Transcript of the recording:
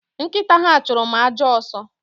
Nkita ha churu m ajo aso